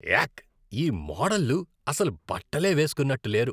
యాక్! ఈ మోడల్లు అసలు బట్టలే వేస్కున్నట్టు లేరు.